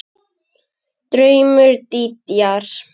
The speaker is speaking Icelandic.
Draumur Dídíar